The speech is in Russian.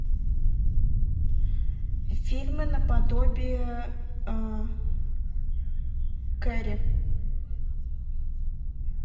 фильмы наподобие кэрри